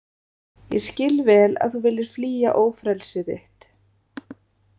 Ég skil vel að þú viljir flýja ófrelsi þitt.